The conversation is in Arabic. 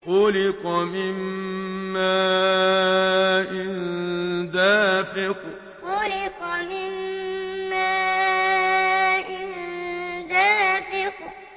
خُلِقَ مِن مَّاءٍ دَافِقٍ خُلِقَ مِن مَّاءٍ دَافِقٍ